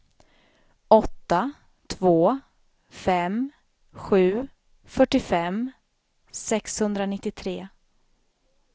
åtta två fem sju fyrtiofem sexhundranittiotre